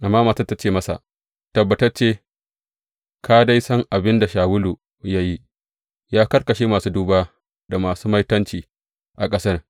Amma matar ta ce masa, Tabbatacce ka dai san abin da Shawulu ya yi, ya karkashe masu duba da masu maitanci a ƙasar.